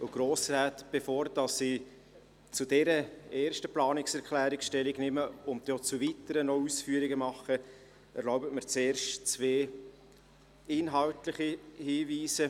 Bevor ich zu dieser ersten Planungserklärung Stellung nehme, und dann auch zu weiteren Planungserklärungen Ausführung mache, erlaube ich mir zwei inhaltliche Hinweise.